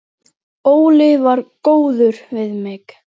Óli var góður við mig.